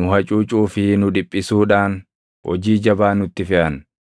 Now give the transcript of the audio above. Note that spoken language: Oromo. nu hacuucuu fi nu dhiphisuudhaan hojii jabaa nutti feʼan.